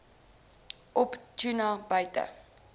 op tuna buiten